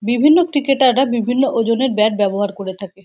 বিভিন্ন ক্রিকেটার রা বিভিন্ন ওজনের ব্যাট ব্যবহার করে থাকে।